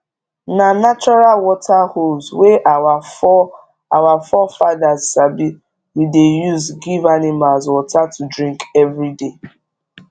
na natural water holes wey our fore our fore fathers sabi we dey use give animals water to drink everyday